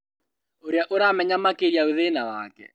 Ũrĩa ũramenya makĩria thĩna wake